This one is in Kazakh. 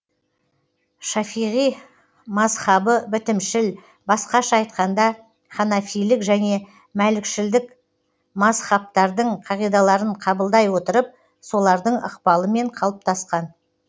шафиғи мазһабы бітімшіл басқаша айтқанда ханафилік және мәлікшілдік мазһабтардың қағидаларын қабылдай отырып солардың ықпалымен қалыптасқан